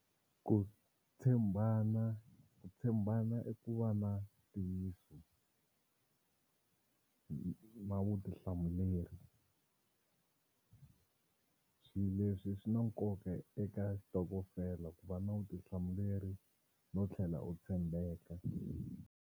Ku tshembana ku tshembana i ku va na ntiyiso na vutihlamuleri. Swi leswi swi na nkoka eka xitokofela ku va na vutihlamuleri no tlhela u tshembeka.